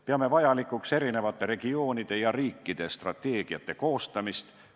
Peame vajalikuks erinevate regioonide ja riikide strateegiate koostamist.